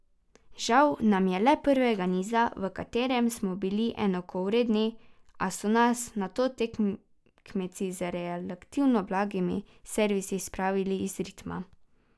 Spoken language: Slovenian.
Žal nam je le prvega niza, v katerem smo bili enakovredni, a so nas nato tekmeci z relativno blagimi servisi spravili iz ritma.